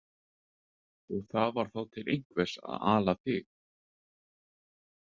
Og það var þá til einhvers að ala þig.